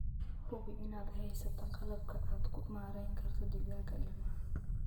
Hubi inaad haysato qalabka aad ku maarayn karto digaagga ilmaha.